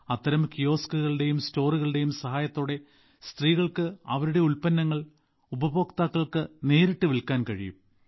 അത്തരം കിയോസ്കുകളുടെയും സ്റ്റോറുകളുടെയും സഹായത്തോടെ സ്ത്രീകൾക്ക് അവരുടെ ഉൽപ്പന്നങ്ങൾ ഉപഭോക്താക്കൾക്ക് നേരിട്ട് വിൽക്കാൻ കഴിയും